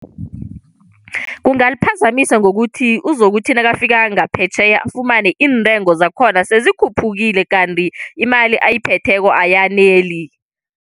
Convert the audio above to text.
Kungaliphazamisa ngokuthi uzokuthi nakafika ngaphetjheya, afumane iintengo zakhona sezikhuphukile kanti imali ayiphetheko ayaneli.